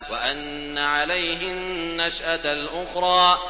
وَأَنَّ عَلَيْهِ النَّشْأَةَ الْأُخْرَىٰ